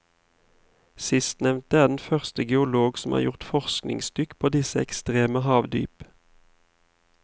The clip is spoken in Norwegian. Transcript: Sistnevnte er den første geolog som har gjort forskningsdykk på disse ekstreme havdyp.